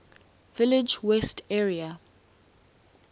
village west area